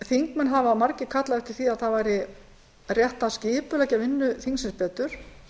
þingmenn hafa margir kallað eftir því að það væri rétt að skipuleggja vinnu þingsins betur